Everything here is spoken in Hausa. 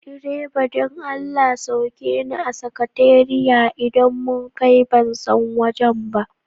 Direba don Allah sauke ni a sakatariya idan mun kai, ban san wajen ba.